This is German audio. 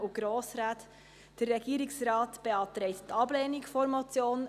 Der Regierungsrat beantragt die Ablehnung der Motion.